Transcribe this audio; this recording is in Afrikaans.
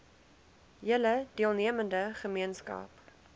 hele deelnemende gemeenskap